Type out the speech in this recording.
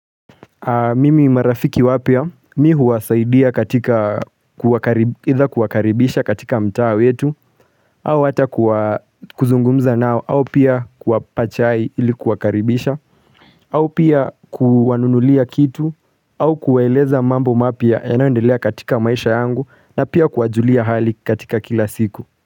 Mimi marafiki wapya mii huwasaidia katika kuwakaribisha katika mtaa wetu au ata kuzungumza nao au pia kuwapa chai ili kuwakaribisha au pia kuwanunulia kitu au kuwaeleza mambo mapya yanayoedelea katika maisha yangu na pia kuwajulia hali katika kila siku.